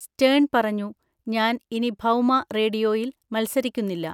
Stern പറഞ്ഞു, ഞാൻ ഇനി ഭൗമ റേഡിയോയിൽ മത്സരിക്കുന്നില്ല.